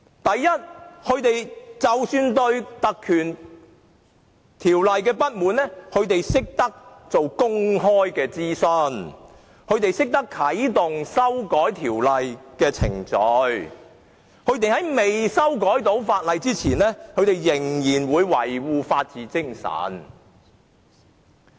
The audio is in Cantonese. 首先，當他們對特權條例不滿時，便進行公開諮詢，並啟動修改條例的程序，而在未修改法例前仍會維護法治精神。